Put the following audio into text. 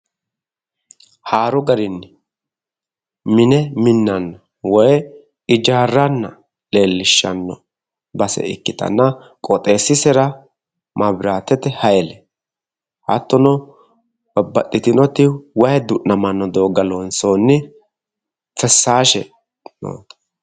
haaru garinni mine minnanna woyi ijaarranna leellishshanno base ikkitanna qooxeessisera maabiraatete hayile hattono babbaxitinoti wayi du'namanno doogga loonsooniti fessaashe.